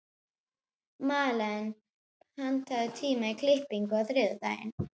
Malen, pantaðu tíma í klippingu á þriðjudaginn.